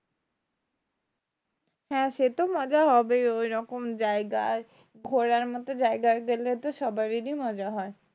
হ্যাঁ সে তো মজা হবেই ওই রকম জায়গায় ঘোরার মতো জায়গায় গেলে তো সবারই মজা হয়